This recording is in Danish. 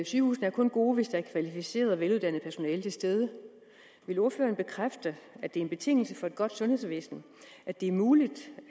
sygehuse er kun gode hvis der er kvalificeret og veluddannet personale til stede vil ordføreren bekræfte at det er en betingelse for et godt sundhedsvæsen at det er muligt